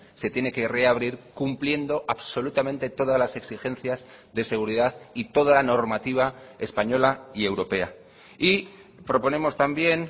se tiene que reabrir cumpliendo absolutamente todas las exigencias de seguridad y toda la normativa española y europea y proponemos también